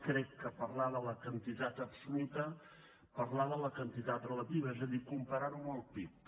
crec en comptes de parlar de la quantitat absoluta parlar de la quantitat relativa és a dir comparar ho amb el pib